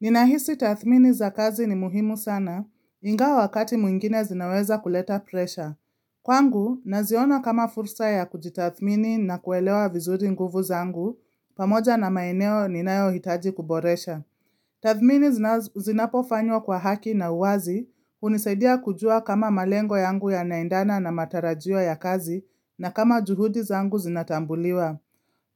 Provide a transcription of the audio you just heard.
Ninahisi tathmini za kazi ni muhimu sana, ingawa wakati mwingine zinaweza kuleta presha. Kwangu, naziona kama fursa ya kujitathmini na kuelewa vizuri nguvu zangu, pamoja na maeneo ninayo hitaji kuboresha. Tathmini zinapofanywa kwa haki na uwazi, hunisaidia kujua kama malengo yangu yanaendana na matarajio ya kazi, na kama juhudi zangu zinatambuliwa.